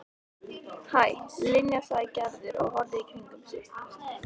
Hæ, Linja sagði Gerður og horfði í kringum sig.